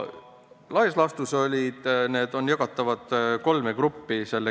Laias laastus on selle kirja ettepanekud jagatavad kolme gruppi.